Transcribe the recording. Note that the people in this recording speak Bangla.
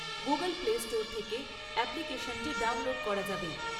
গুগল প্লেস্টোর থেকে অ্যাপ্লিকেশনটি ডাউনলোড করা যাবে।